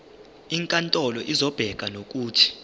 inkantolo izobeka nokuthi